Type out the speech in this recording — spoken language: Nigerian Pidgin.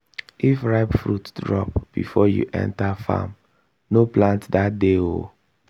if ripe fruit drop before you enter farm no plant that day o.